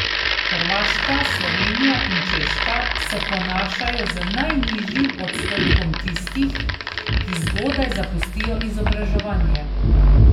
Hrvaška, Slovenija in Češka se ponašajo z najnižjim odstotkom tistih, ki zgodaj zapustijo izobraževanje.